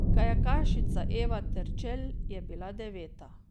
Kajakašica Eva Terčelj je bila deveta.